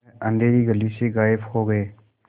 वह अँधेरी गली से गायब हो गए